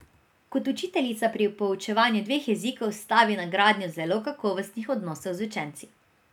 Kot učiteljica pri poučevanju dveh jezikov stavi na gradnjo zelo kakovostnih odnosov z učenci.